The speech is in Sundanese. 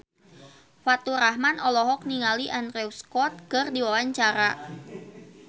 Faturrahman olohok ningali Andrew Scott keur diwawancara